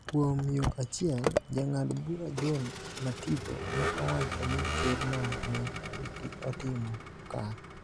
Kuom yo achiel, Jang'ad bura John Mativo ne owacho ni Kerno ne otimo kare,